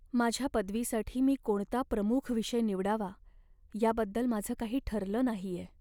माझ्या पदवीसाठी मी कोणता प्रमुख विषय निवडावा याबद्दल माझं काही ठरलं नाहीये.